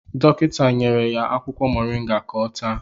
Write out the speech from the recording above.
Dọkịta nyere ya akwụkwọ moringa ka ọ taa